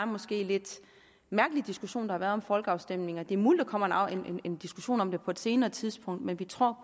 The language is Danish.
måske lidt mærkelige diskussion har været om folkeafstemninger det er muligt at der kommer en diskussion om det på et senere tidspunkt men vi tror